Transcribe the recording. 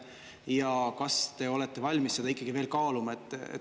Ja kas te olete valmis seda ikkagi veel kaaluma?